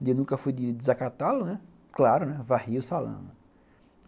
Ele nunca fui de desacatá-lo, né, claro, varria o salão.